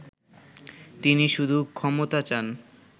তিনি শুধু ক্ষমতা চান